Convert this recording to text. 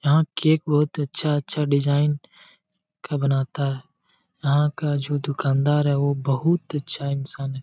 यहाँ केक बहुत अच्छा अच्छा डिज़ाइन का बनाता है यहाँ का जो दुकानदार है वो बहुत अच्छा इंसान है।